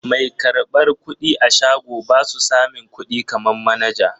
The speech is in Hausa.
Mai karɓar kuɗi a shago basu samin kuɗi kaman manaja.